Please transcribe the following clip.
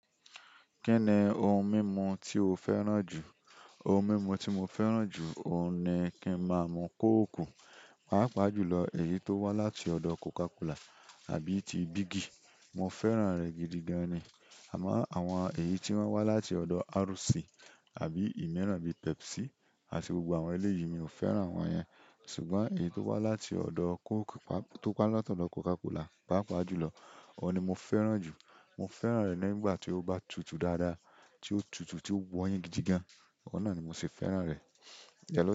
Kí ni ohun mímu tí o fẹ́ràn jù? Ohun mímu tí mo fẹ́ràn jù, òun ni kí ń má a mú Coke, pàápàá jùlọ èyí tó wá láti ọ̀dọ̀ Coca Cola àbí ti bigi. Mo fẹ́ràn rẹ̀ gidigan ni. Àmọ́ àwọn èyí tí wọ́n wá láti ọ̀dọ̀ RC àbí ìmíràn bíi Pepsi àti gbogbo àwọn eléyìí, mi ò fẹ́ràn àwọn yẹn. Ṣùgbọ́n èyí tó wá láti ọ̀dọ̀ Coke, tó wá láti ọ̀dọ̀ Coca Cola, pàápàá jùlọ, òun ni mo fẹ́ràn jù. Mo fẹ́ràn rẹ̀ nígbà tí ó bá tutù dáadáa, tí ó tutù tí ó wọ́yin gidigan, ọ̀nà ni mo ṣe fẹ́ràn rẹ̀.